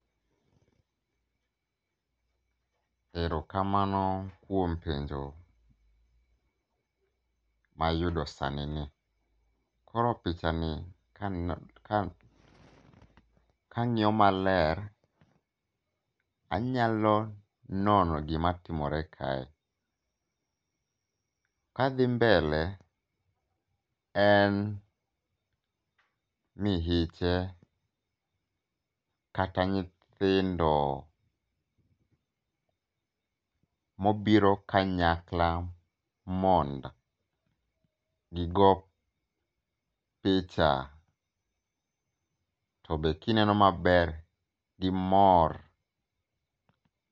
Erokamano kuom penjo mayudo sanini. Koro pichani kang'iyo maler anyalo nono gimatimore kae. Kadhi mbele en mihiche kata nyithindo mobiro kanyakla mondo[um] gigoo picha. Tobe kineno maber gimor.